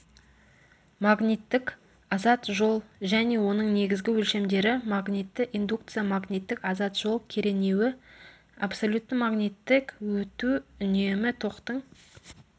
магниттік азат жол және оның негізгі өлшемдері магнитті индукция магниттік азат жол керенуі абсолютті магниттік өту үнемі токтың